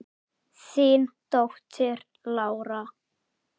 Þín dóttir, Lára.